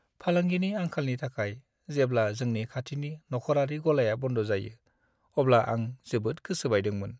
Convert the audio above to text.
फालांगिनि आंखालनि थाखाय जेब्ला जोंनि खाथिनि नखरारि गलाया बन्द जायो, अब्ला आं जोबोद गोसो बायदोंमोन।